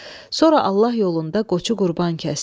Sonra Allah yolunda qoçu qurban kəsdi.